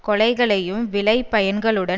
கொலைகளையும் விளைபயன்களுடன்